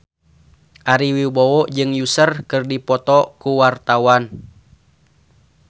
Ari Wibowo jeung Usher keur dipoto ku wartawan